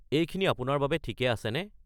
এইখিনি আপোনাৰ বাবে ঠিকে আছেনে?